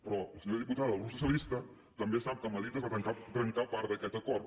però la senyora diputada del grup socialista també sap que a madrid es va trencar part d’aquest acord